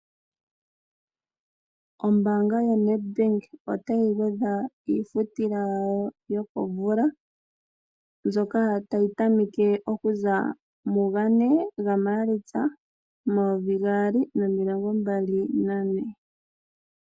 Ombanga yaNed otayi gwedha iifutila yawo yokomvula mbyoka tayi tameke okuza mugane gaMalitsa momayovi gaali nomilongo mbali nane.